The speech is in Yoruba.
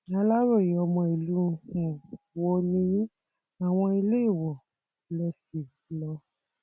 aláròye ọmọ ìlú um wo nìyìn àwọn iléèwọ lè ṣí lọ